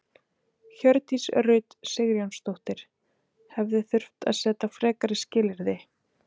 Hjördís Rut Sigurjónsdóttir: Hefði þurft að setja frekari skilyrði?